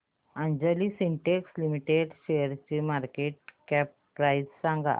Anjani synthetics limited शेअरची market cap price सांगा